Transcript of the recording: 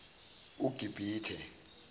ugibithe